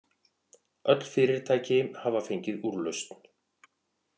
Öll fyrirtæki hafa fengið úrlausn